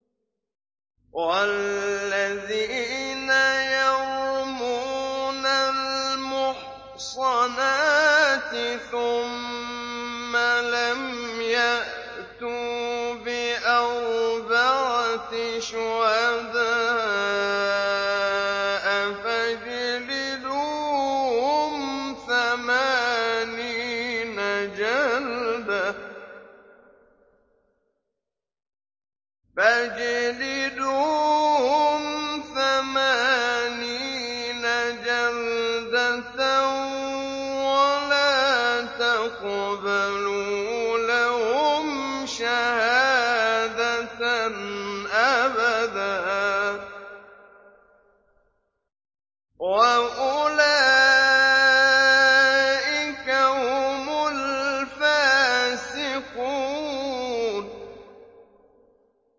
وَالَّذِينَ يَرْمُونَ الْمُحْصَنَاتِ ثُمَّ لَمْ يَأْتُوا بِأَرْبَعَةِ شُهَدَاءَ فَاجْلِدُوهُمْ ثَمَانِينَ جَلْدَةً وَلَا تَقْبَلُوا لَهُمْ شَهَادَةً أَبَدًا ۚ وَأُولَٰئِكَ هُمُ الْفَاسِقُونَ